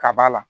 Ka ba la